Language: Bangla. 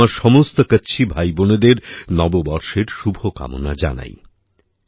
আমি আমার সমস্ত কাচ্ছি ভাইবোনেদের নববর্ষের শুভ কামনা জানাই